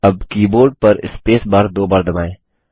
अब कीबोर्ड पर space bar spacebar दो बार दबाएँ